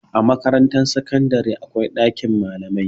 A Makarantar sakandare akwai ɗakin malamai.